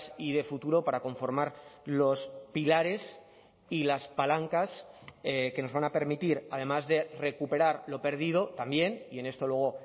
y de futuro para conformar los pilares y las palancas que nos van a permitir además de recuperar lo perdido también y en esto luego